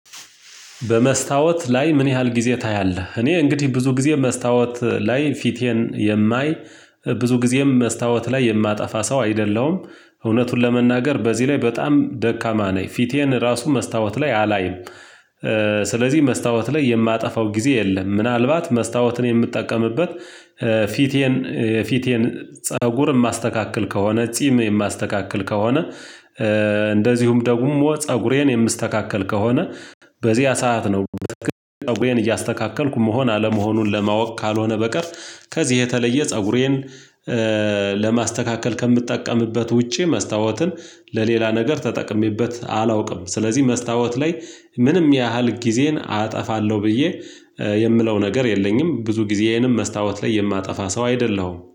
በመስታወት ላይ ምን ያህል ጊዜ ታያለህ? እኔ እንግዲህ ብዙ ጊዜ መስታወት ላይ ፊቴን የማይ ብዙ ጊዜም መስታወት ላይ የማጠፋ ሰው አይደለም። እውነቱን ለመናገር በዚህ ላይ በጣም ደካማ ነኝ ፊቴን ራሱ መስታወት ላይ አላይም። ስለዚህ መስታወት ላይ የማጠፋው ጊዜ የለም። ምናልባት መስታወትን የምትጠቀምበት። ፊቴን ፊቴን ፀጉር የማስተካክል ከሆነ ጺም የማስተካክል ከሆነ። እንደዚሁም ደግሞ ፀጉሬን የምስተካከል ከሆነ። በዚያ ሰዓት ነው በጣም ፀጉሬን እያስተካከልኩ መሆን አለመሆኑን ለማወቅ ካልሆነ በቀር። ከዚህ የተለየ ፀጉሬን ለማስተካከል ከምትጠቀምበት ውጪ መስታወትን ለሌላ ነገር ተጠቅሜበት አላውቅም። ስለዚህ መስታወት ላይ ምንም ያህል ጊዜን አጠፋለሁ ብዬ የምለው ነገር የለኝም። ብዙ ጊዜዬንም መስታወት ላይ የማጠፋ ሰው አይደለሁም